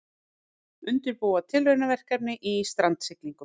Undirbúa tilraunaverkefni í strandsiglingum